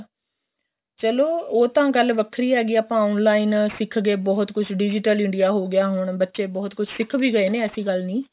ਚਲੋਂ ਉਹ ਤਾਂ ਗੱਲ ਵੱਖਰੀ ਹੈਗੀ ਏ ਆਪਾਂ online ਸਿਖ ਗਏ ਬਹੁਤ ਕੁੱਛ digital India ਹੋ ਗਿਆ ਹੁਣ ਬੱਚੇ ਬਹੁਤ ਕੁੱਛ ਸਿਖ ਵੀ ਗਏ ਨੇ ਐਸੀ ਗੱਲ ਨਹੀਂ